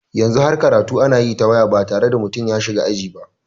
Yanzu har karatu ana yi ta waya ba tare da mutum ya shiga aji ba.